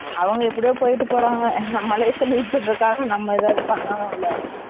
அவங்க எப்படியோ போய்ட்டு போறாங்க நம்ம life ஆ lead பண்ணுறதுக்காக நம்ம எதாவது பண்ணணும் இல்ல